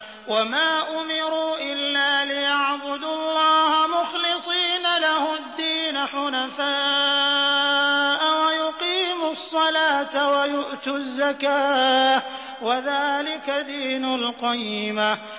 وَمَا أُمِرُوا إِلَّا لِيَعْبُدُوا اللَّهَ مُخْلِصِينَ لَهُ الدِّينَ حُنَفَاءَ وَيُقِيمُوا الصَّلَاةَ وَيُؤْتُوا الزَّكَاةَ ۚ وَذَٰلِكَ دِينُ الْقَيِّمَةِ